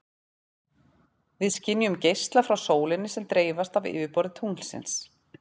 Við skynjum geisla frá sólinni sem dreifast af yfirborði tunglsins.